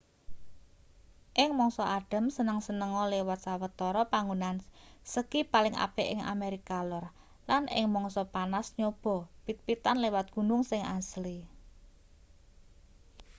ing mangsa adhem seneng-senenga liwat sawetara panggonan ski paling apik ing amerika lor lan ing mangsa panas nyobaa pit-pitan liwat gunung sing asli